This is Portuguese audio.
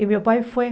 E meu pai foi.